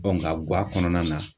nka guwa kɔnɔna na.